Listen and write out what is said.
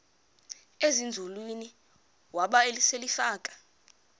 ezinzulwini waba selefika